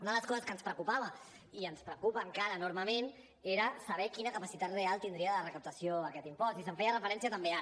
una de les coses que ens preocupava i ens preocupa encara enormement era saber quina capacitat real tindria de recaptació aquest impost i se’n feia referència també ara